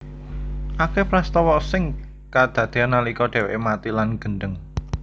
Akeh prastawa sing kadadean nalika dheweke mati lan gendheng